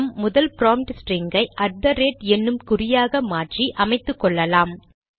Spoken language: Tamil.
நம் முதன்மை ப்ராம்ப்ட் ஸ்டிரிங் ஐ அட் தெ ரேட் என்னும் குறியாக மாற்றி அமைத்துக்கொள்ளலாம்